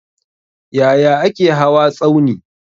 Yaya ake hawa tsauni?